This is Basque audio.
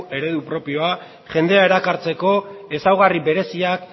eredu propioa jendea erakartzeko ezaugarri bereziak